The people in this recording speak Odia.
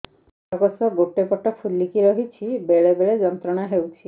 ଅଣ୍ଡକୋଷ ଗୋଟେ ପଟ ଫୁଲିକି ରହଛି ବେଳେ ବେଳେ ଯନ୍ତ୍ରଣା ହେଉଛି